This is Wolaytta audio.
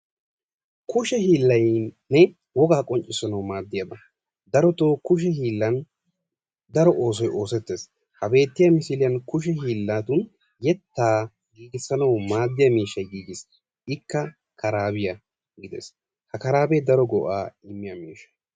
Kushe hiilaynne wogaa qoccissana maaddiyaaba. Daroto kushe hiillan daro oosoy oosettees. Ha beettiya misiliyan kushe hiilatun yetta giigisanw maaddiyaa miishay de'ees. Ikka karabbiya getettees. Ha karabbe daro go'a immiya miishsha.